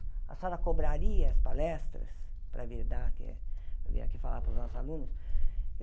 A senhora cobraria as palestras para vir dar aqui vir aqui falar para os nossos alunos?